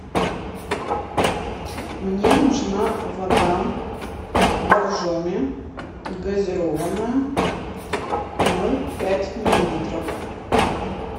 мне нужна вода боржоми газированная ноль пять миллилитров